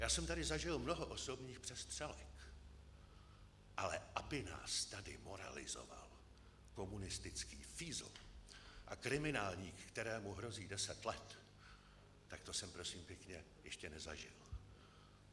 Já jsem tady zažil mnoho osobních přestřelek, ale aby nás tady moralizoval komunistický fízl a kriminálník, kterému hrozí deset let, tak to jsem prosím pěkně ještě nezažil.